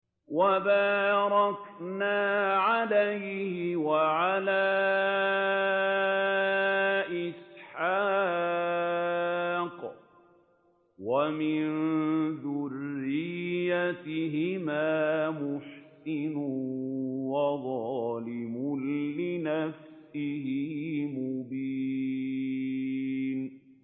وَبَارَكْنَا عَلَيْهِ وَعَلَىٰ إِسْحَاقَ ۚ وَمِن ذُرِّيَّتِهِمَا مُحْسِنٌ وَظَالِمٌ لِّنَفْسِهِ مُبِينٌ